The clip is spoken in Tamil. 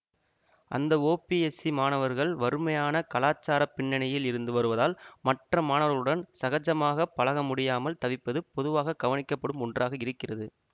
அந்த ஒபிஎஸ் சி மாணவர்கள் வறுமையான கலாச்சார பின்னணியில் இருந்து வருவதால் மற்ற மாணவர்களுடன் சகஜமாக பழகமுடியாமல் தவிப்பது பொதுவாக கவனிக்கப்படும் ஒன்றாக இருக்கிறது